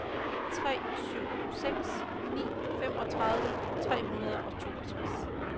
tre syv seks ni femogtredive tre hundrede og toogtres